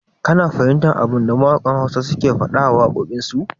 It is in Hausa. Ka na fahimtar abinda mawaƙan Hausa ke faɗa a wakokin su?